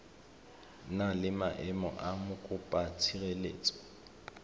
na le maemo a mokopatshireletso